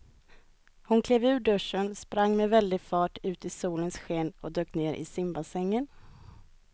Hon klev ur duschen, sprang med väldig fart ut i solens sken och dök ner i simbassängen.